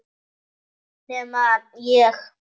Nema ég.